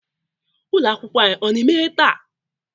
ụlọ akwụkwọ anyị ọ na-emeghe taa?